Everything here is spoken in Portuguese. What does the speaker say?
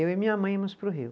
Eu e minha mãe íamos para o Rio.